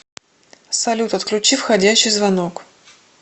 салют отключи входящий звонок